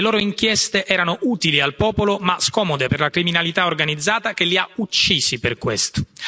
Le loro inchieste erano utili al popolo ma scomode per la criminalità organizzata che li ha uccisi per questo.